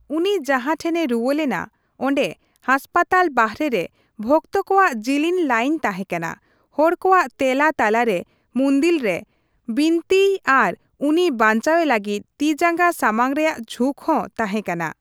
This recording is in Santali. ᱩᱱᱤ ᱡᱟᱦᱟᱴᱷᱮᱱᱮ ᱨᱩᱣᱟᱹ ᱞᱮᱱᱟ, ᱚᱸᱰᱮ ᱦᱟᱥᱯᱟᱛᱟᱞ ᱵᱟᱨᱦᱮ ᱨᱮ ᱣᱚᱠᱛᱚ ᱠᱚᱣᱟᱜ ᱡᱤᱞᱤᱧ ᱞᱟᱭᱤᱱ ᱛᱟᱦᱮᱠᱟᱱᱟ; ᱦᱚᱲ ᱠᱚᱣᱟᱜ ᱛᱮᱞᱟ ᱛᱟᱞᱟᱨᱮ ᱢᱩᱱᱫᱤᱞ ᱨᱮ ᱵᱤᱱᱛᱤᱭ ᱟᱨ ᱩᱱᱤ ᱵᱟᱧᱪᱟᱣᱮ ᱞᱟᱹᱜᱤᱫ ᱛᱤᱼᱡᱟᱸᱜᱟ ᱥᱟᱢᱟᱝ ᱨᱮᱭᱟᱜ ᱡᱷᱩᱠ ᱦᱚ ᱛᱟᱦᱮᱸᱠᱟᱱᱟ ᱾